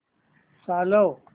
चालव